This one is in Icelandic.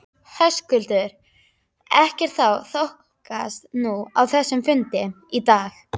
Höskuldur: Ekkert þá þokast núna á þessum fundi í dag?